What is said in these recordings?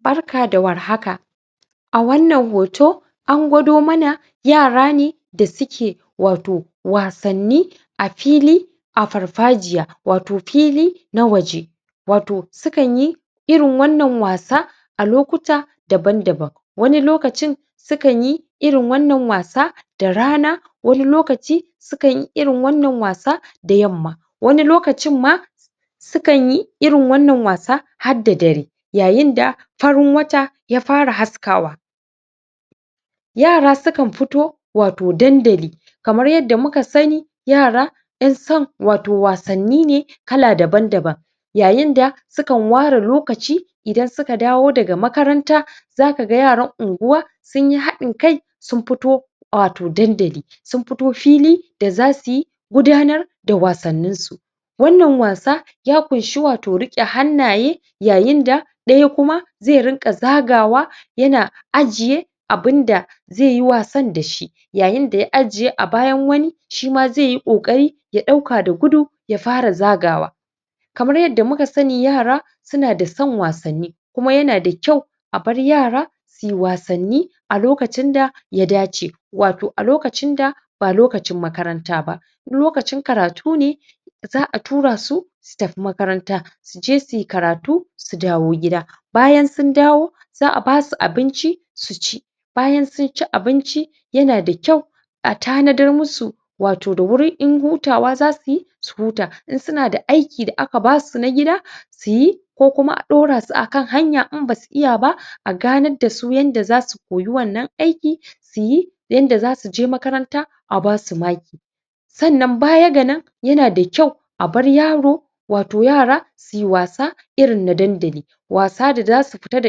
Barka da war haka! Wannan hoto an gwado mana yara ne da suke wato wasanni a fili a farfajiya, wato fili na waje, wato sukan yi irin wannan wasa lokuta daban-daban. Wani lokacin sukan yi irin wannan wasa da rana; wani lokaci sukan yi irin wannan wasa da yamma. Wani lokacin ma sukan yi irin wannan wasa hadda dare yayin da farin wata ya fara haskawa. Yara sukan firo wato dandali. Kamar yadda muka sani yara ƴan son wasanni ne kala dabn-daban Yayin da sukan ware ware lokaci idan suka dawo daga makaranta za ka ga yaran unguwa sun yi haɗin kai sun fito wato dandali sun fito fili da za su gudanar da wasanninsu. Wannan wasa ya ƙunshi wato riƙe hannaye yayin da ɗaya kuma zai rinƙa zagawa yana ajiye abin da zai yi wasan da shi yayin da ya ajiye a bayan wani, shi ma zai yi ƙoƙari ya ɗauka da gudu ya fara zagawa. Kamar yadda muka sani, yara suna da son wasanni kuma yana da kyau a bar yara su yi wasannin a lokacin da ya dace, wato a lokacin da ba lokacin makaranta ba. In lokacin karatu ne, za a tura su su tafi makaranta, su je su yi karatu, su dawo gida. Bayan sun dawo, za a ba su abinci su ci. Bayan sun ci abinci, yana da kyau a tanadar musu da wuri wato in hutawa za su yi, su huta, in suna da aiki da aka ba su na gida su yi, ko kuma a ɗaura su a kan hanya in ba su iya ba, a ganar da su yadda za su koyi wannan aiki su yi yanda za su je makaranta a ba su maki. Sannan baya ga nan, yana da kyau a bar yari wato yara su yi wasa irin na dandali, wasa da za su fita da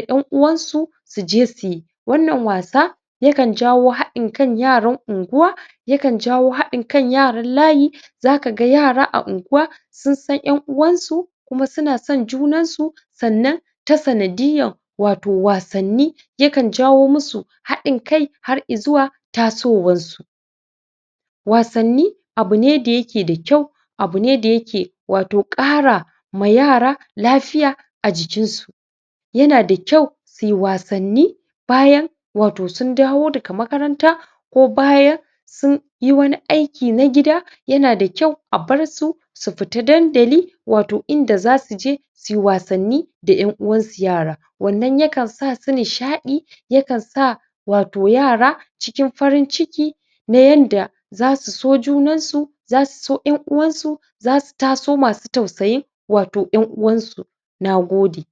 ƴan'uwansu su je su yi. Wannan wasa yakan jawo haɗin kan yaran unguwa, yakan jawo haɗin kan yaran layi. Za ka ga yara a unguwa sun san ƴan uwansu kuma suna son junansu, sannan ta sanadiyyar wato wasanni sukan jawo musu haɗin kai har i zuwa tasowansu. Wasanni abu ne da yake da kyau, abu ne da yake wato ƙara ma yara lafiya a jikinsu. yana da kyau su yi wasanni bayan wato sun dawo daga makaranta ko bayan sun yi wani aiki na gida. Yana da kyau a bar su su fita dandali wato inda za su je su yi wasanni da ƴan uwansu yara. Wannan yakan sa su nishaɗi, yakan sa wato yara cikin farin ciki Ta yanda za su so junansu, za su so ƴan uwansu, za su taso masu tausayin wato ƴan uwansu. Na gode.